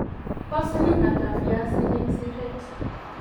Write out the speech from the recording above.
po siling ata viazik eng siret